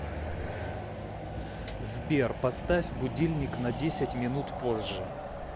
сбер поставь будильник на десять минут позже